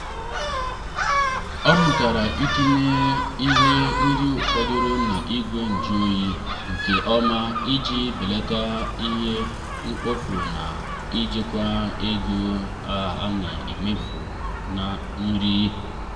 ọ mụtara itinye ihe nri fọdụrụ n'igwe njụ oyi nke ọma iji belata ihe mkpofu na ijikwa ege a na emefu na nri.